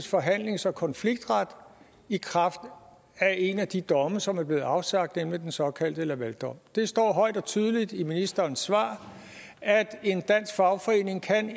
forhandlings og konfliktret i kraft af en af de domme som er blevet afsagt nemlig den såkaldte lavaldom det står højt og tydeligt i ministerens svar at en dansk fagforening